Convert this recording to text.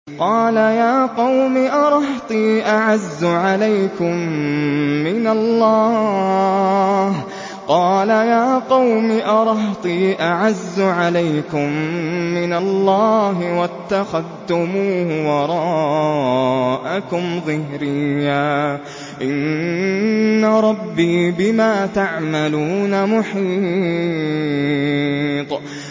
قَالَ يَا قَوْمِ أَرَهْطِي أَعَزُّ عَلَيْكُم مِّنَ اللَّهِ وَاتَّخَذْتُمُوهُ وَرَاءَكُمْ ظِهْرِيًّا ۖ إِنَّ رَبِّي بِمَا تَعْمَلُونَ مُحِيطٌ